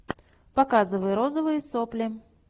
показывай розовые сопли